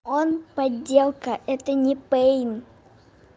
он подделка это не пэйн